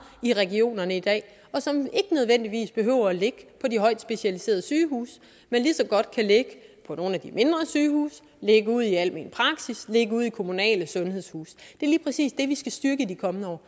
i regionerne i dag og som ikke nødvendigvis behøver at ligge på de højt specialiserede sygehuse men lige så godt kan ligge på nogle af de mindre sygehuse ligge ude i almen praksis ligge ude i kommunale sundhedshuse det er lige præcis det vi skal styrke i de kommende år